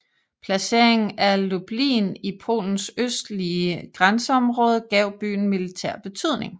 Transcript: Placeringen af Lublin i Polens østlige grænseområde gav byen militær betydning